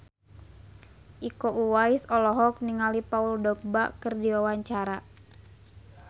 Iko Uwais olohok ningali Paul Dogba keur diwawancara